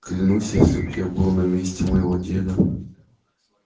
клянусь если б я был на месте моего деда